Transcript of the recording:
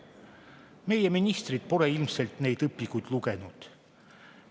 Meie ministrid pole ilmselt neid õpikuid lugenud.